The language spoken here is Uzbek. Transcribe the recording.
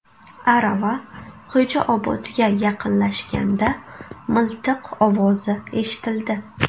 Arava Xo‘jaobodga yaqinlashganda miltiq ovozi eshitildi.